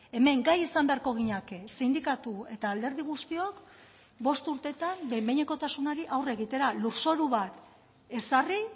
hemen gai izan beharko ginateke sindikatu eta alderdi guztiok bost urtetan behin behinekotasunari aurre egitera lurzoru bat ezarri